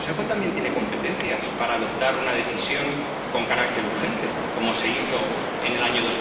El Consejo también tiene competencias para adoptar una decisión con carácter urgente, como se hizo en el año